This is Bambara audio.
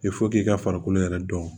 k'i ka farikolo yɛrɛ dɔn